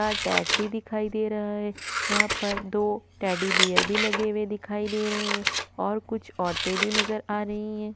का टॅग भी दिखाई दे रहा है यहाँ पर दो टेडीबियर भी लगे हुए दिखाई दे रहे है और कुछ औरते भी नज़र आ रही है।